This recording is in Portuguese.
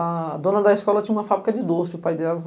A dona da escola tinha uma fábrica de doce, o pai dela.